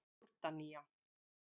Jórdanía